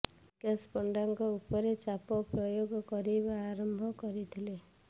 ବିକାଶ ପଣ୍ତାଙ୍କ ଉପରେ ଚାପ ପ୍ରୟୋଗ କରିବା ଆରମ୍ଭ କରିଥିଲେ